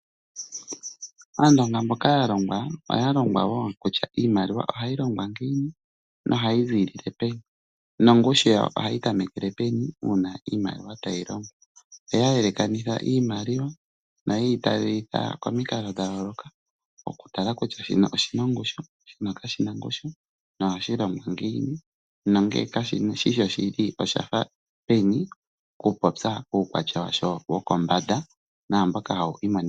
Aandonga mboka ya longwa oya longwa wo kutya iimaliwa ohayi longwa ngiini nohayi ziilile peni nongushu yawo ohayi tamekele peni uuna iimaliwa tayi longwa. Oya yelekanitha iimaliwa noye yi talelitha komikalo dha yooloka okutala kutya shino oshi na ongushu, shino kashi na ongushu nohashi longwa ngiini. Nongele kashi shi shoshili osha fa peni okupopya uukwatya washo wokombanda naamboka hawu imonikila.